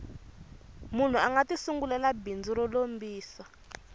munhu anga ti sungulela bindzu ro lombisa